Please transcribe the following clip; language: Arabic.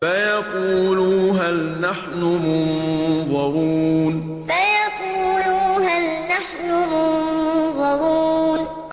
فَيَقُولُوا هَلْ نَحْنُ مُنظَرُونَ فَيَقُولُوا هَلْ نَحْنُ مُنظَرُونَ